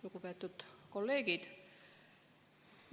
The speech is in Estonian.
Lugupeetud kolleegid!